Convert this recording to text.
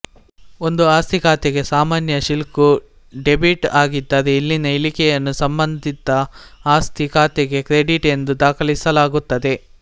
ಒಂದು ಆಸ್ತಿ ಖಾತೆಗೆ ಸಾಮಾನ್ಯ ಶಿಲ್ಕು ಡೆಬಿಟ್ ಆಗಿದ್ದರೆ ಇಲ್ಲಿನ ಇಳಿಕೆಯನ್ನು ಸಂಬಂಧಿತ ಆಸ್ತಿ ಖಾತೆಗೆ ಕ್ರೆಡಿಟ್ ಎಂದು ದಾಖಲಿಸಲಾಗುತ್ತದೆ